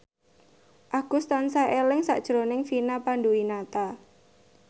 Agus tansah eling sakjroning Vina Panduwinata